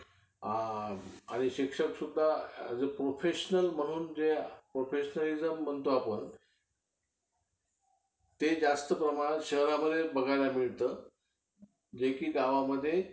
आणि शिक्षक सुद्धा as a professional म्हणून जे professionalism म्हणतो आपण ते जास्त प्रमाणात शहरांमध्ये बघायला मिळतं. जे कि गावामध्ये